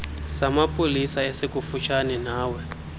samapolisa esikufutshane nawe